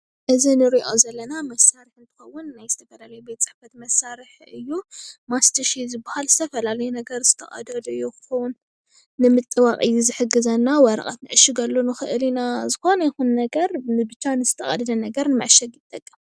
እዚ እንሪኦ ዘለና መሳርሒ እንትኸውን ናይ ፅሕፈት መሳርሒ እዩ፡፡ ማስትሽ እዩ ዝበሃል፡፡ ዝተፈላለዩ ነገር ዝተቀደዱ ይኩን ንምጥባቅ እዩ ዝሕግዘና ወረቀት ንዕሽገሉ ንክእል ኢና፡፡ ዝኮነ ይኩን ነገር ብቻ ንዝተቀደደ ነገር ንምዕሻግ ይጠቅም፡፡